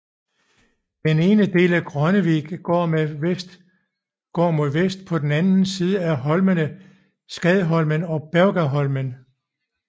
Den ene del er Grønnevik der går mod vest på den anden siden af holmene Skadholmen og Bergaholmen